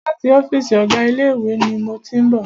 Láti ọ́fìsì ọ̀gá ilé ìwé ni mo tí ń bọ̀.